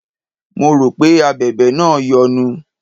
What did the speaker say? Mo rò pé Abẹ̀bẹ̀ náà yọnu.